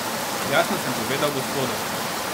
Jasno sem povedal gospodom.